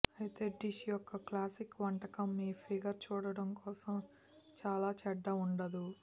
అయితే డిష్ యొక్క క్లాసిక్ వంటకం మీ ఫిగర్ చూడటం కోసం చాలా చెడ్డ వుండదు